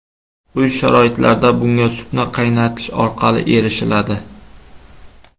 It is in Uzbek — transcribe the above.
Uy sharoitlarida bunga sutni qaynatish orqali erishiladi.